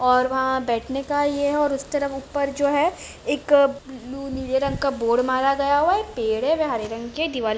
तरफ बैठने का भी ये है और वहां बैठने का यह है और उस तरफ ऊपर जो है एक अ-ब्लू नीले रंग का बोर्ड मारा गया हुआ पेड़ है हरे रंग के दिवाल--